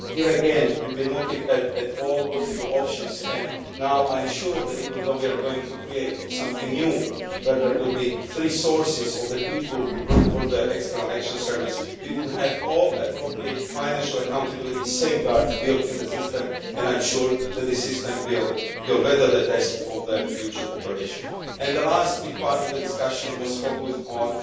Here, again, we have been looking at all the possible options and I am sure now that even though we are going to create something new, where there will be three sources for the people who will work for the External Action Service, we will have all the appropriate financial accountability safeguards built into the system and I am sure that the system will weather the test of its future operation. The last big part of the discussion focused on